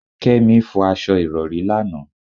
Kémi fọ aṣọ Ìrọ̀rí lánàá.